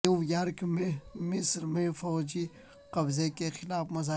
new York میں مصر میں فوجی قبضے کے خلاف مظاہرہ